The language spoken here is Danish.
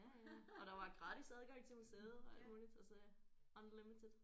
Ja ja og der var gratis adgang til museet og alt muligt altså ja unlimited